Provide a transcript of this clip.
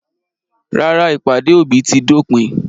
Rárá, ìpàdé òbí ti dópin.